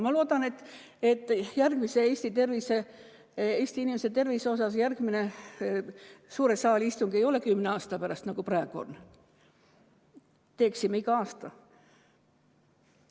Ma loodan, et järgmine suure saali istung Eesti inimese tervise teemal ei ole kümne aasta pärast, nagu praegu oli, vaid teeksime seda iga aasta.